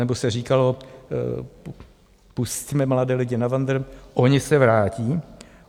Nebo se říkalo - pusťme mladé lidi na vandr, oni se vrátí.